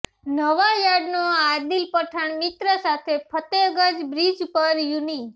નવાયાર્ડનો આદિલ પઠાણ મિત્ર સાથે ફતેગંજ બ્રિજ પર યુનિ